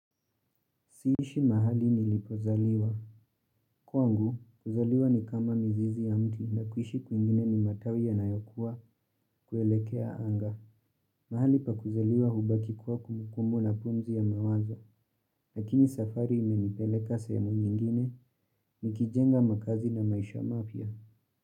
Siishi mahali nilipozaliwa. Kwangu, kuzaliwa ni kama mizizi ya mti na kuishi kwingine ni matawi yanayokuwa kuelekea anga. Mahali pa kuzaliwa hubaki kuwa kumbukumbu na pumzi ya mawazo. Lakini safari imenipeleka sehemu nyingine nikijenga makazi na maisha mapya.